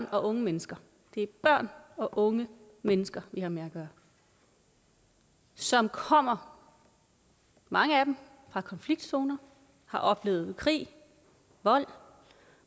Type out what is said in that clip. og unge mennesker det er børn og unge mennesker vi har med at gøre som kommer mange af dem fra konfliktzoner har oplevet krig vold